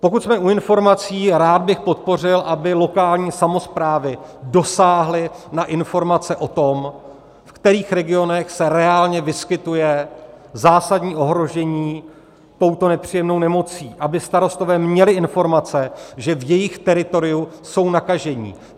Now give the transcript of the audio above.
Pokud jsme u informací, rád bych podpořil, aby lokální samosprávy dosáhly na informace o tom, v kterých regionech se reálně vyskytuje zásadní ohrožení touto nepříjemnou nemocí, aby starostové měli informace, že v jejich teritoriu jsou nakažení.